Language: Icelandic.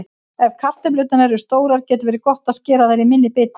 Ef kartöflurnar eru stórar getur verið gott að skera þær í minni bita.